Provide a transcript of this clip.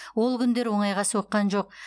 ол күндер оңайға соққан жоқ